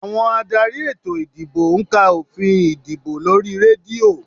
Àwọn adarí ètò ìdìbò ń ka òfin ìdìbò lórí rédíò